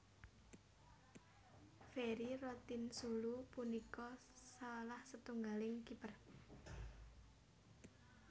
Ferry Rotinsulu punika salah setunggaling kiper